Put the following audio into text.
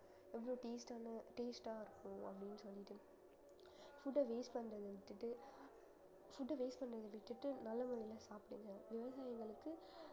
எவ்வளவு taste ஆன taste ஆ இருக்கும் அப்படின்னு சொல்லிட்டு food அ waste பண்றதை விட்டுட்டு food அ waste பண்றதை விட்டுட்டு நல்ல முறையில சாப்பிடுங்க விவசாயிங்களுக்கு